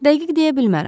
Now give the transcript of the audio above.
Dəqiq deyə bilmərəm.